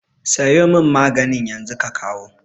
Sayo mun maganin yanzu ka kawo